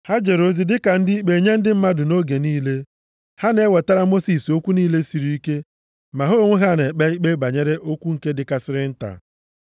Ha jere ozi dịka ndị ikpe nye ndị mmadụ nʼoge niile. Ha na-ewetara Mosis okwu niile siri ike, ma ha onwe ha na-ekpe ikpe banyere okwu nke dịkarịsịrị nta.